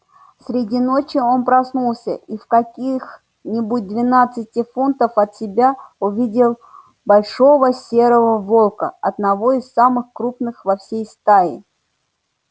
среди ночи он проснулся и в каких-нибудь двенадцати футнах от себя увидел большого серого волка одного из самых крупных во всей стае